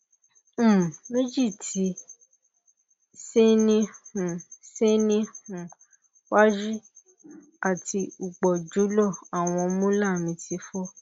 um meji ti se ni um se ni um waju ati upojulo awon molar mi ti fo